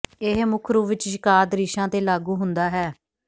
ਇਹ ਮੁੱਖ ਰੂਪ ਵਿੱਚ ਸ਼ਿਕਾਰ ਦ੍ਰਿਸ਼ਾਂ ਤੇ ਲਾਗੂ ਹੁੰਦਾ ਹੈ